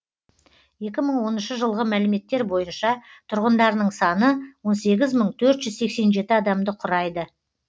екі мың оныншы жылғы мәліметтер бойынша тұрғындарының саны он сегіз мың төрт жүз сексен жеті адамды құрайды